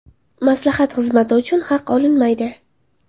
Maslahat xizmati uchun haq olinmaydi.